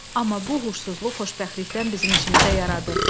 Amma bu uğursuzluq xoşbəxtlikdən bizim işimizə yaradı.